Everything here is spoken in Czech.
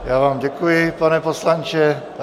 Já vám děkuji, pane poslanče.